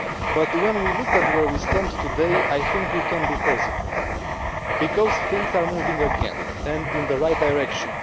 But when we look at where we stand today, I think we can be positive because things are moving again and in the right direction.